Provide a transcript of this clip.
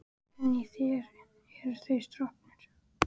En í þér eru þeir stroknir.